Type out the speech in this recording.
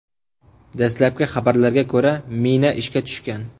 Dastlabki xabarlarga ko‘ra, mina ishga tushgan.